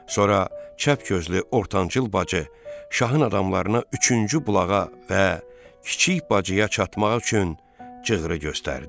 Sonra çəpgözlü ortancıl bacı şahın adamlarına üçüncü bulağa və kiçik bacıya çatmaq üçün cığırı göstərdi.